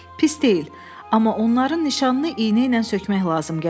Pis deyil, amma onların nişanını iynə ilə sökmək lazım gələcək.